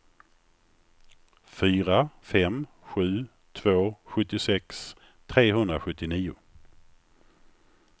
fyra fem sju två sjuttiosex trehundrasjuttionio